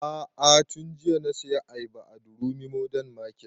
A'a tun jiya na saya ayaba a durumi modern market